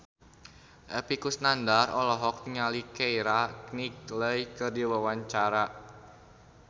Epy Kusnandar olohok ningali Keira Knightley keur diwawancara